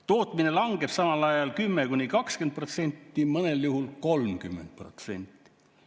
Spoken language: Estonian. Tootmine langeb samal ajal 10–20%, mõnel juhul 30%.